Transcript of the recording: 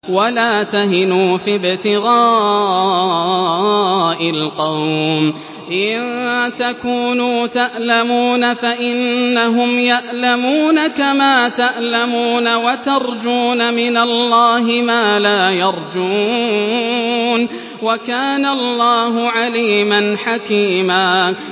وَلَا تَهِنُوا فِي ابْتِغَاءِ الْقَوْمِ ۖ إِن تَكُونُوا تَأْلَمُونَ فَإِنَّهُمْ يَأْلَمُونَ كَمَا تَأْلَمُونَ ۖ وَتَرْجُونَ مِنَ اللَّهِ مَا لَا يَرْجُونَ ۗ وَكَانَ اللَّهُ عَلِيمًا حَكِيمًا